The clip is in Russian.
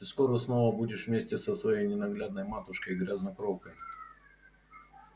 ты скоро снова будешь вместе со своей ненаглядной матушкой-грязнокровкой